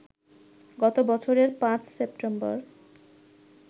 গত বছরের ৫ সেপ্টেম্বর